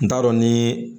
N t'a dɔn nii